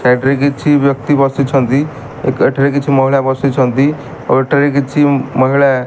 side side ରେ କିଛି ବ୍ୟକ୍ତି ବସିଛନ୍ତି ଏକାଠିରେ କିଛି ମହିଳା ବସିଛନ୍ତି ଓ ଏଠାରେ କିଛି ମହିଳା --